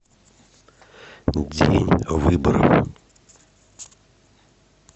день выборов